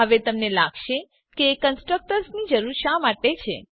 હવે તમને લાગશે કે કન્સ્ટ્રકટર્સ ની જરૂર શા માટે છે